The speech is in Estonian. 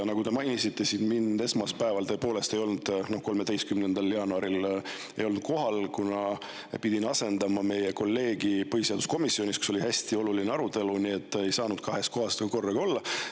Nagu te mainisite, mind esmaspäeval, 13. jaanuaril tõepoolest ei olnud kohal, kuna pidin asendama meie kolleegi põhiseaduskomisjonis, kus oli hästi oluline arutelu, nii et ei saanud kahes kohas korraga olla.